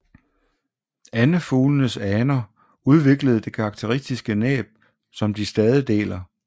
Andefuglenes aner udviklede det karakteristiske næb som de stadig deler